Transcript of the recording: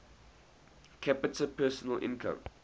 capita personal income